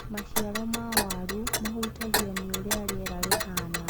Maciaro ma waru mahutagio nĩũrĩa rĩera rĩhana.